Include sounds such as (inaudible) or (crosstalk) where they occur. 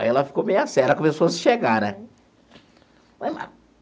Aí ela ficou meio séria, começou a, (unintelligible) né?